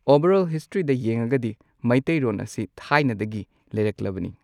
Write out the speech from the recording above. Over all ꯍꯤꯁꯇ꯭ꯔꯤꯗ ꯌꯦꯡꯉꯒꯗꯤ ꯃꯩꯇꯩꯔꯣꯟ ꯑꯁꯤ ꯊꯥꯏꯅꯗꯒꯤ ꯂꯩꯔꯛꯂꯕꯅꯤ꯫